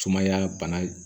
Sumaya bana